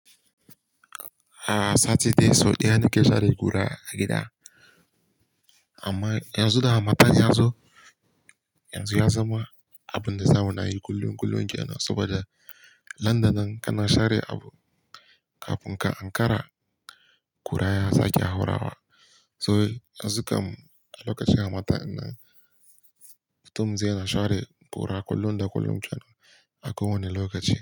Ah sati dai sau ɗaya nike share kura a gida. Amma yanzu da hammatan ya zo, yanzu ya zama abun da zamu nayi kullum kullum jiya nan saboda nandanan kana share abu, kafin ka ankara kura ya sake ya haurawa. So yanzu kam a lokacin hammatan dinnan, mutum zai na share kura kullum da kullum kenan a ko wane lokaci.